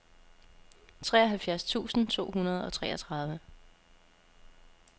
treoghalvfjerds tusind to hundrede og treogtredive